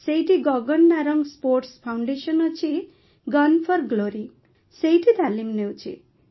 ସେଇଠି Gagan Narang sports foundation ଅଛି gun for glory ସେଇଠି ତାଲିମ ନେଉଛି